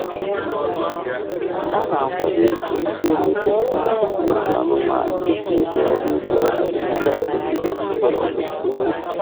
A na-akwado ịkụ mkpụrụosisi na ịzụ anụmanụ dị ka ụdị ọrụ ugbo na-adịgide adịgide nwere ọtụtụ uru.